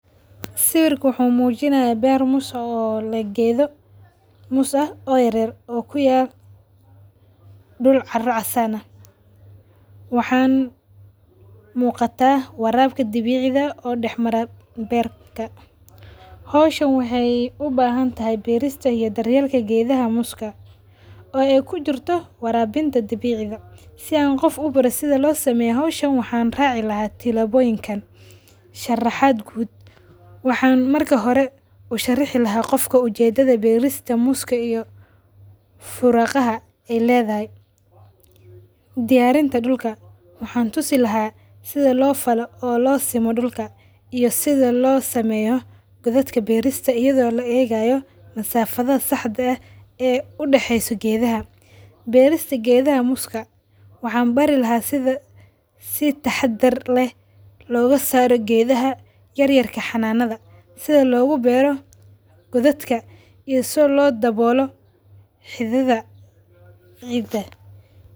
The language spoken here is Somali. Sawirka wuxu mujinaya beer moos oo geedo moos ah oo yaryar oo kuyala duul cara casaan aah. Waxaan mugata warabka dabiciga oo daxmara beerka. Hawsahan waxay ubahantahy beerista iyo daryeelka geedha mooska oo ay kujirto warabinta dabiciga. Si aan qoof u baro sidha loo sameeyo hawshan waxan raaci laha tilaboyinkan. Sharaxaad quud, waxan marki hore usharixi laha qofka ujeedadha beerista mooska iyo furagaha ay ledadhay. Diyarinta dulka ,waxan tusi lahaa sidha loo falo oo loo simo dulka iyo sidha loo sameyo qodhatka beerista iyadho laa egayo masafdha saxde eeh ee udaxeso geedaha. Beerista geedaha mooska waxan bari laha sidha si tahadaar leeh loogasaro geedaha yaryarka xananadha sidha looga beero kudhatka iyo sidha loo dawolo xidhidha ciida.